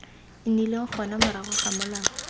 nnileng gona morago ga molao